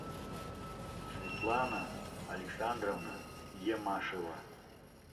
светлана александровна емашева